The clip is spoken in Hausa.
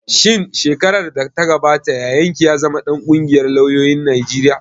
Shin shekarar da ta gabata yayan ki ya zama ɗan ƙungiyar lauyoyin Najeriya